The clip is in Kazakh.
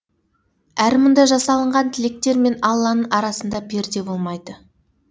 әрі мұнда жасалынған тілектер мен алланың арасында перде болмайды